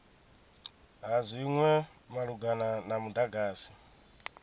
ha zwinwe malugana na mudagasi